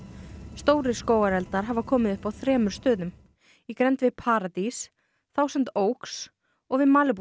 stórir skógareldar hafa komið upp á þremur stöðum í grennd við paradís Thousand Oaks og við Malibu